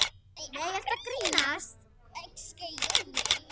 Nei, ertu að grínast?